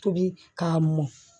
Tobi k'a mɔn